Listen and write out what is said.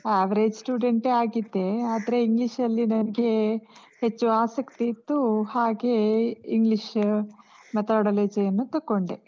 Average student ಯೇ ಆಗಿದ್ದೆ. ಆದ್ರೇ English ಅಲ್ಲಿ ನನ್ಗೇ ಹೆಚ್ಚು ಆಸಕ್ತಿ ಇತ್ತು, ಹಾಗೇ English methodology ಯನ್ನು ತೊಕೊಂಡೆ.